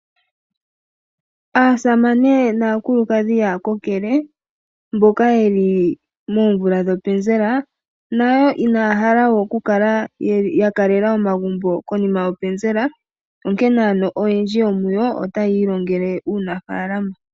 Aasamane naakulukadhi yaakokele mboka ye li moomvula dhopenzela nayo inaya hala we okukala ya kalela omagumbo konima yopenzela, onkene oyendji otaya ilongele uunafaalama.